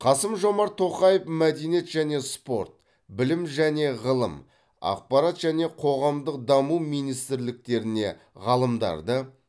қасым жомарт тоқаев мәдениет және спорт білім және ғылым ақпарат және қоғамдық даму министрліктеріне ғалымдарды